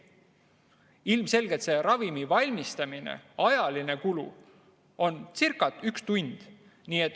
Ilmselgelt on ravimi valmistamise ajaline kulu circa üks tund.